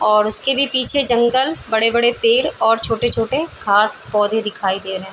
और उसके भी पीछे जंगल बड़े बड़े पेड़ और छोटे छोटे घास पौधे दिखाई दे रहें हैं ।